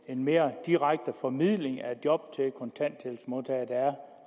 en mere direkte formidling af job til kontanthjælpsmodtagere